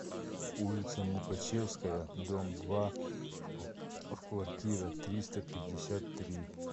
улица мукачевская дом два в квартира триста пятьдесят три